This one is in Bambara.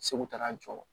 Segu taara jɔ